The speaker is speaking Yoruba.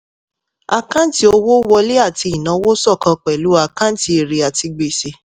àkáǹtì owó wọlé àti ìnáwó ṣọ́kan pẹ̀lú àkáǹtì èrè àti gbèsè.